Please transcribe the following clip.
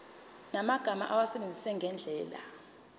yamagama awasebenzise ngendlela